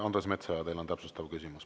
Andres Metsoja, teil on täpsustav küsimus.